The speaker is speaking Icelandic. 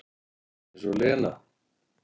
Eins og Lena!